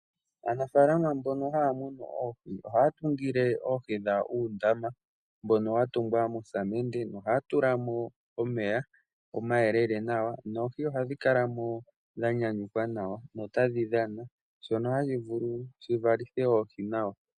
Aanafaalama mbono haya munu oondjuhwa ohayatungile oohi dhawo uundama mbono watungwa mosamende . Ohaya tulamo omeya omayelele nawa noohi ohadhikalamo dha nyanyukwa nawa dho otadhi dhana shono hashi vulu shivalithe oohi nawa.